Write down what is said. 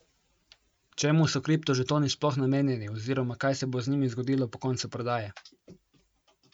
Čemu so kriptožetoni sploh namenjeni oziroma kaj se bo z njimi zgodilo po koncu prodaje?